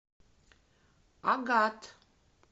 агат